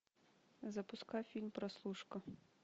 запускай фильм прослушка